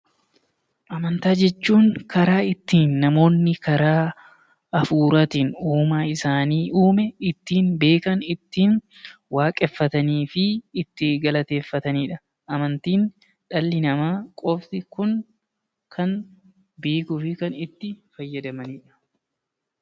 Amantaa jechuun karaa ittiin namoonni karaa hafuuraatiin uumaa isaan uume ittiin beekan, ittiin waaqeffatanii fi ittiin galateeffatani dha. Amantiin dhalli namaa qofti Kan beekuu fi Kan itti fayyadamanidha.